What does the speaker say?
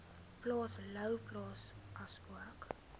plaas louwplaas asook